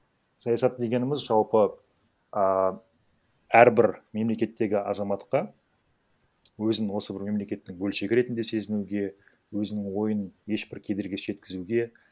саясат дегеніміз жалпы ыыы әрбір мемлекеттегі азаматқа өзінін осы бір мемлекеттің бөлшегі ретінде сезінуге өзінің ойын ешбір кедергісіз жеткізуге